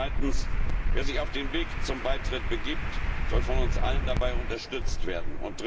Zweitens Wer sich auf den Weg zum Beitritt begibt, soll von uns allen dabei unterstützt werden.